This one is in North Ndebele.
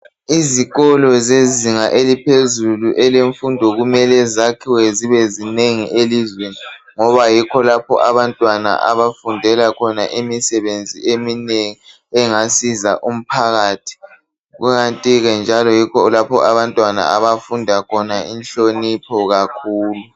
Izikolo zezinga eliphezulu elemfundo kumele zakhiwe zibe zinengi elizweni ngoba yikho lapho abantwana abafundela khona imisebenzi eminengi engasiza umphakathi kukanti ke njalo yikho lapha abantwana abafunda khona inhlonipho kakhulu